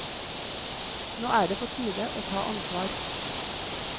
Nå er det på tide å ta ansvar.